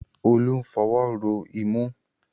Olú ń fọwọ́ ro imú